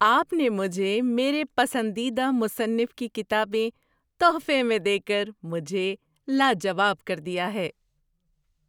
آپ نے مجھے میرے پسندیدہ مصنف کی کتابیں تحفے میں دے کر مجھے لاجواب کر دیا ہے!